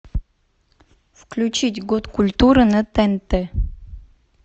включить год культуры на тнт